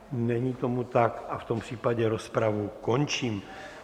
Není tomu tak a v tom případě rozpravu končím.